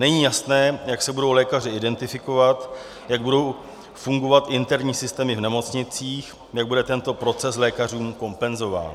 Není jasné, jak se budou lékaři identifikovat, jak budou fungovat interní systémy v nemocnicích, jak bude tento proces lékařům kompenzován.